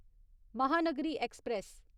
Mahanagari express